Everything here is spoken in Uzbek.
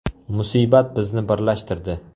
Musibat bizni birlashtirdi.